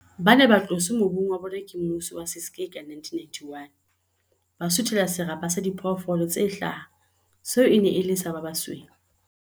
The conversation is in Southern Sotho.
Ba ne ba tloswe mobung wa bona ke mmuso wa Ciskei ka 1991, ba suthela serapa sa diphoofolo tse hlaha seo e neng e le sa ba basweu.